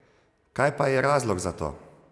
Kaj pa je razlog za to?